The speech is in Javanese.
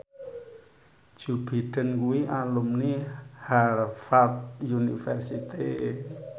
Joe Biden kuwi alumni Harvard university